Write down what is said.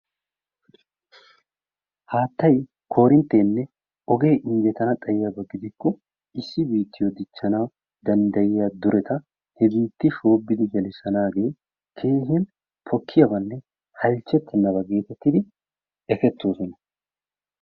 Haattay, koorinttenne oge injjetana Xayiyaba gidana xaykko he biittiyo dichchana danddayiyaa dureta he biittiyo shoobidi gelissanaage keehi pokkiyaabanne halchchetennaaba getettidi ekettoosona.